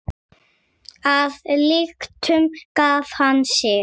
Að lyktum gaf hann sig.